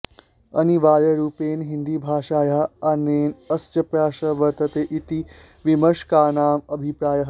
अनिवार्यरूपेण हिन्दीभाषायाः आनयने अस्य प्रयासः वर्तते इति विमर्शकानाम् अभिप्रायः